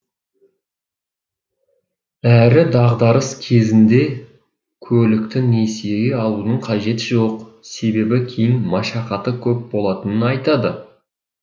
әрі дағдарыс кезінде көлікті несиеге алудың қажеті жоқ себебі кейін машақаты көп болатынын айтады